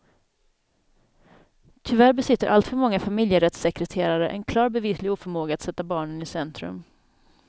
Tyvärr besitter allt för många familjerättssekreterare en klar bevislig oförmåga att sätta barnen i centrum.